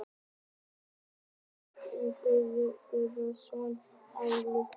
Hvaða starfi gegnir Pétur Guðmann Guðmannsson á Landspítalanum?